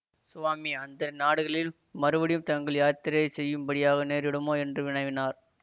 சுவாமி அந்த நாடுகளில் மறுபடியும் தாங்கள் யாத்திரை செய்யும்படியாக நேரிடுமோ என்று வினவினார்